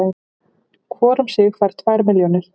Hvor um sig fær tvær milljónir